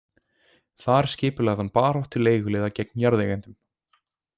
Þar skipulagði hann baráttu leiguliða gegn jarðeigendum.